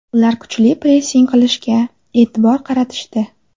Ular kuchli pressing qo‘llashga e’tibor qaratishdi.